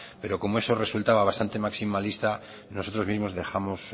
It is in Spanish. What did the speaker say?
pero como eso resultaba bastante maximalista nosotros mismos dejamos